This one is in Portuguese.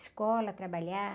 Escola, trabalhar.